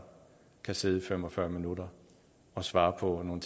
kan sidde i fem og fyrre minutter og svare på nogle